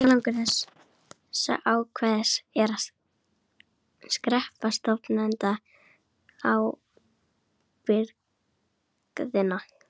Tilgangur þessa ákvæðis er sá að skerpa stofnendaábyrgðina.